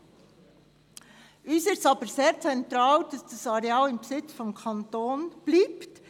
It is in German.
Für uns ist es aber sehr zentral, dass dieses Areal im Besitz des Kantons bleibt.